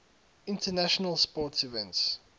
international sports events